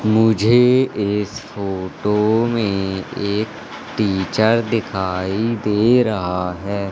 मुझे इस फोटो में एक टीचर दिखाई दे रहा है।